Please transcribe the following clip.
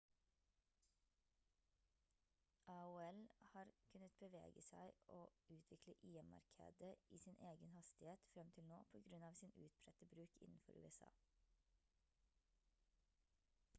aol har kunnet bevege seg og utvikle im-markedet i sin egen hastighet frem til nå på grunn av sin utbredte bruk innenfor usa